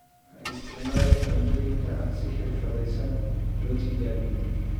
Ha isticmaalin cuntooyinka aan si xirfadaysan loo tijaabin.